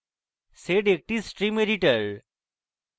sed একটি stream editor